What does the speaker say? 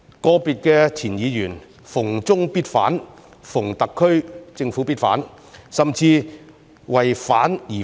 個別前議員"逢中必反"，"逢特區政府必反"，甚至"為反而反"。